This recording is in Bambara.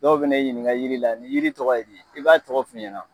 Dɔw bɛ na i ɲininka jiri la ni jiri tɔgɔ ye di ? i b'a tɔgɔ f'u ɲɛna